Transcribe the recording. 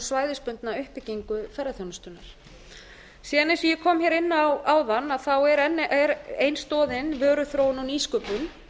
svæðisbundna uppbyggingu ferðaþjónustunnar síðan eins og ég kom hér inn á áðan er ein stoðin vöruþróun og nýsköpun